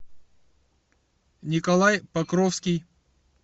николай покровский